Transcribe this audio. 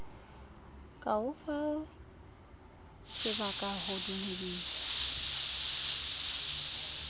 ka o fasebaka ho dumedisa